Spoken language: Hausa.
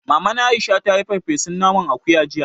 Maman Aisha ta yi farfesun naman akuya jiya